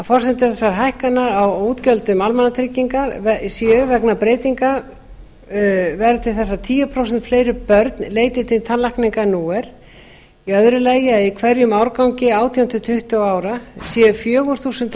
forsendur þessara hækkana á útgjöldum almannatrygginga séu vegna breytinga fyrsta breytingin verði til þess að tíu prósent fleiri börn leiti til tannlækna en nú er annað í hverjum árgangi átján til tuttugu ára séu fjögur þúsund